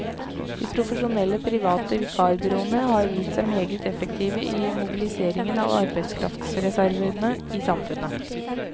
De profesjonelle private vikarbyråene har vist seg meget effektive i mobiliseringen av arbeidskraftreservene i samfunnet.